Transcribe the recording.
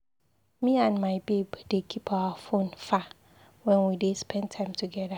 Me and my babe dey keep our fone far wen we dey spend time togeda.